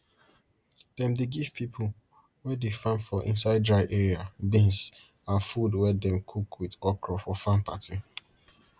dem dey give pipo wey dey farm for inside dry area beans and food wey dem cook with okro for farm party